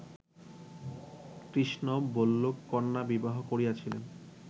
কৃষ্ণ ভল্লুককন্যা বিবাহ করিয়াছিলেন